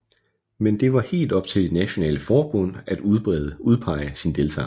Men det var helt op til de nationale forbund at udpege sin deltager